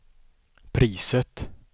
priset